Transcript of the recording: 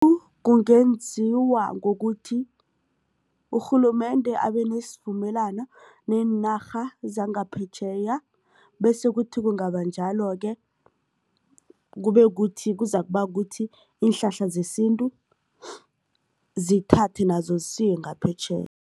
kungenziwa ngokuthi urhulumende abenesivumelwano neenarha zangaphetjheya bese kuthi kungaba njalo-ke kube kuthi kuzakuba kuthi iinhlahla zesintu zithathwe nazo zisiwe ngaphetjheya.